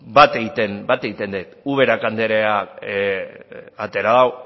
bat egiten det ubera andereak atera du